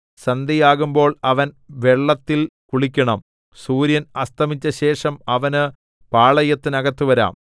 സന്ധ്യയാകുമ്പോൾ അവൻ വെള്ളത്തിൽ കുളിക്കണം സൂര്യൻ അസ്തമിച്ചശേഷം അവന് പാളയത്തിനകത്തു വരാം